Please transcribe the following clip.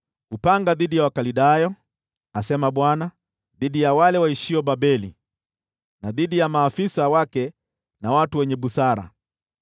“Upanga dhidi ya Wakaldayo!” asema Bwana , “dhidi ya wale waishio Babeli na dhidi ya maafisa wake na watu wenye busara!